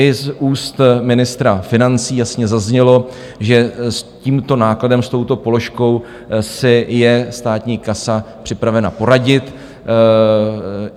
I z úst ministra financí jasně zaznělo, že s tímto nákladem, s touto položkou, si je státní kasa připravena poradit.